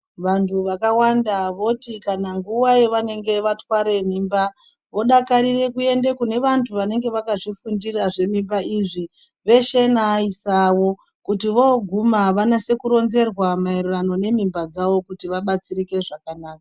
Vantu vakawanda voti kana nguva yavanenge vatware mimba vodakarire kuende kune vantu vanenge vakazvifundira zvemimba izvi veshe neaaisa avo. Kuti vooguma vanyatse kuronzerwa maererano nemimba dzavo kuti vabatsirike zvakanaka.